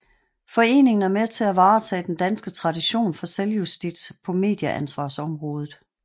Foreningen er med til at varetage den danske tradition for selvjustits på medieansvarsområdet